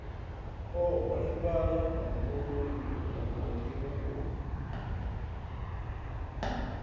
o holefhala muhumbuloni mupondiwa o